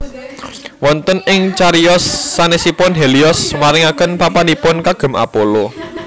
Wonten ing cariyos sanèsipun Helios maringaken papanipun kagem Apollo